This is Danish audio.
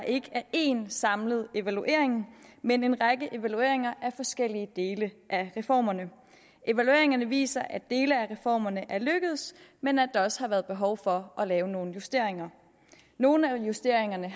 ikke er én samlet evaluering men en række evalueringer af forskellige dele af reformerne evalueringerne viser at dele af reformerne er lykkedes men at der også har været behov for at lave nogle justeringer nogle af justeringerne